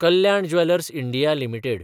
Kalyan jewellers India limited